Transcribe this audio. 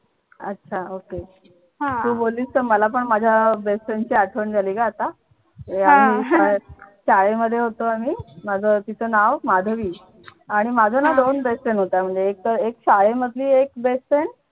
अच्छा ok तू बोललीस तर माझ्या मला पण माझ्या best friend ची आठवण झाली ग आता आणि शाळेमध्ये होतो आम्ही माझं तिचं नाव माधवी आणि माझ्या ना दोन best friend होत्या एक तर शाळेमधली एक best friend